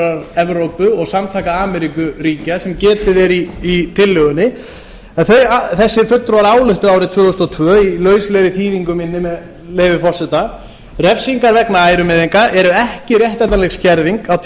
samvinnustofnunar evrópu og samtaka ameríkuríkja sem getið er í tillögunni en þessir fulltrúar ályktuðu árið tvö þúsund og tvö í lauslegri þýðingu minni með leyfi forseta refsingar vegna ærumeiðinga eru ekki réttlætanleg skerðing á